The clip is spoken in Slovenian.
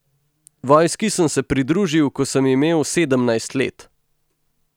Vojski sem se pridružil, ko sem imel sedemnajst let.